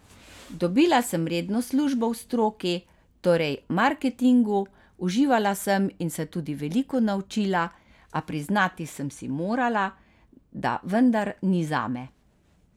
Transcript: Dobila sem redno službo v stroki, torej marketingu, uživala sem in se tudi veliko naučila, a priznati sem si morala, da vendar ni zame.